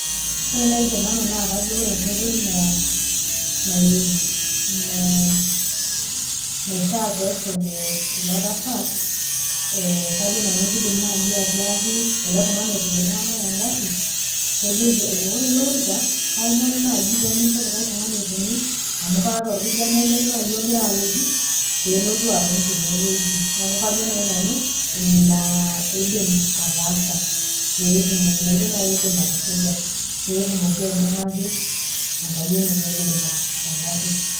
Ore nai tenanu naa kajo ore enkoitoi naishaa pesuji ilo tasat, kajo nanu kidim nai atiaki ele tung'ani opik iltung'anak egarri, kejoki, ore eloorika, kaomonu nai pemincho likae tung'ani otonie, amu kaata orkijanai lai ogira nai alotu, otii enewueji. Kajo nai nanu, ina idim ataasa. Petumoki inoitoi nai idim atusuja, Petumoki aibung'aki enkayioni enye olorika, tegarri.